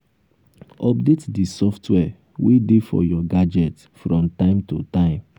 update di software wey dey for your gadget from time to time